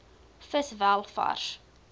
vis wel vars